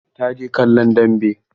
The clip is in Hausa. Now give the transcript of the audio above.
Ta je kallon dambe.